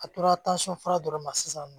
A tora fura dɔrɔn ma sisan